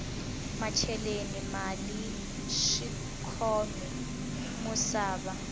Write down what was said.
macheleni mali swikhome musava